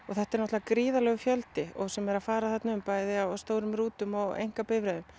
þetta er náttúrulega gríðarlegur fjöldi sem er að fara þarna um bæði á stórum rútum og einkabifreiðum